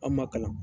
An ma kalan